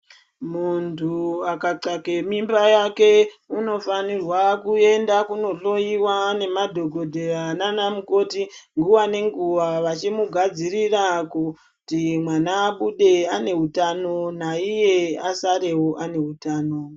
Muntu akatsvake mimba yake unofanirwa kuenda kundohloiwa nemadhokodheya nana mukoti nguwa ngenguwa vachimugadzirira kuti mwana abude ane hutano naiye asarewo ane hutano.